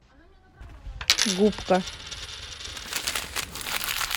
губка